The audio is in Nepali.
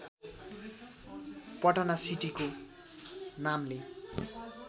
पटना सिटीको नामले